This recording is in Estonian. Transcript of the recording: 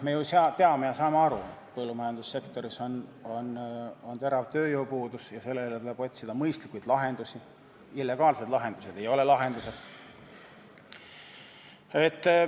Me ju teame ja saame aru, et põllumajandussektoris on terav tööjõupuudus ja sellele tuleb otsida mõistlikke lahendusi, illegaalsed lahendused ei ole lahendused.